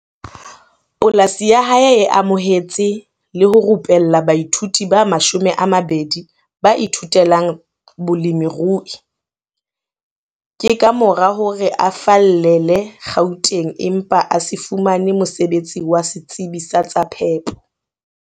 Polasi ya hae e amohetse le ho rupella baithuti ba 20 ba ithutelang bolemirui. Ke ka mora hore a fallele Gauteng empa a se fumane mosebetsi wa setsebi sa tsa phepo.